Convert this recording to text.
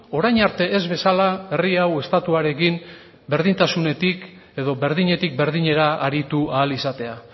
orain arte ez bezala herri hau estatuarekin berdintasunetik edo berdinetik berdinera aritu ahal izatea